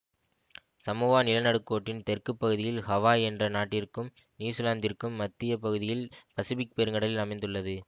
Samoa நிலநடுக்கோட்டின் தெற்கு பகுதியில் ஹவாய் என்ற நாட்டிற்கும் நியுசிலாந்திற்கும் மத்திய பகுதியில் பசிபிக் பெருங்கடலில் அமைந்துள்ளது